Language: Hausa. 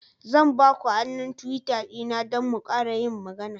Zan ba ku hannun Twitter dina don mu ƙara yin magana.